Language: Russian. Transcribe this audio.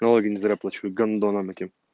налоги не зря плачу гандонам этим